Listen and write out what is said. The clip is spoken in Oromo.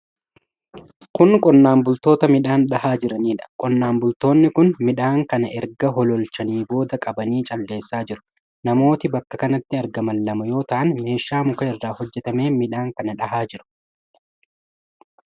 Kun qonnaan bultoota midhaan dhahaa jiraniidha. Qonnaan bultoonni kun midhaan kana erga hololchanii booda qabanii calleessaa jiru. Namooti bakka kanatti argaman lama yoo ta'an, meeshaa muka irraa hojjatameen midhaan kan dhahaa jiru.